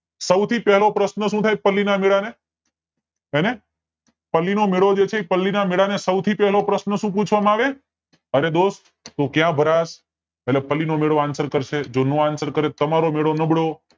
સૌ થી પેલો પ્રશ્ન સુ થાય પલ્લી ના મેલા ને પલ્લી ના મેલા ને સૌ થી પેલો પ્રશ્ન સુ પૂછવામાં આવે છે અરે દોસ્ત તું ક્યાં ભારાસ એટલે પલ્લી નો મેળો answer કરશે અને જો નો answer કરે તો તમારો મેળો નબળો